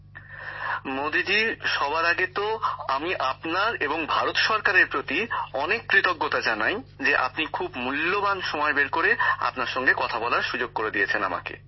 গ্যামর জীঃ মোদীজী সবার আগে তো আমি আপনার এবং ভারত সরকারের প্রতি অনেক কৃতজ্ঞতা জানাই যে আপনি খুব মূল্যবান সময় বের করে আপনার সঙ্গে কথা বলার সুযোগ দিয়েছেন আমাকে